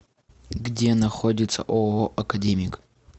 где находится ооо академик